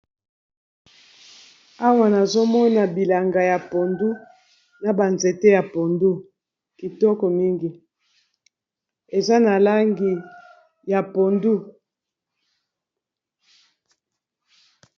Awa nazomona bilanga ya pondu na banzete ya pondu kitoko mingi eza na langi ya pondu.